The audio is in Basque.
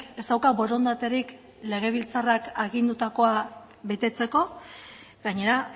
ez dauka borondaterik legebiltzarrak agindutakoa betetzeko gainera